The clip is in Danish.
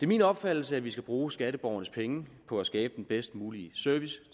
min opfattelse at vi skal bruge skatteborgernes penge på at skabe den bedst mulige service